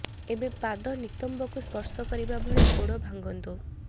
ଏବେ ପାଦ ନିତମ୍ବକୁ ସ୍ପର୍ଶ କରିବା ଭଳି ଗୋଡ଼ ଭାଙ୍ଗନ୍ତୁ